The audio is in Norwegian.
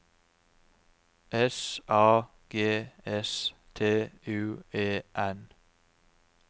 S A G S T U E N